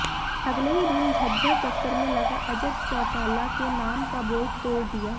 अगले ही दिन झज्जर दफ्तर में लगा अजय चौटाला के नाम का बोर्ड तोड़ दिया